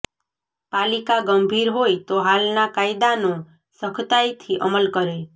પાલિકા ગંભીર હોય તો હાલના કાયદાનો સખતાઈથી અમલ કરે